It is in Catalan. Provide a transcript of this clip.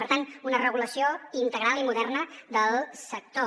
per tant una regulació integral i moderna del sector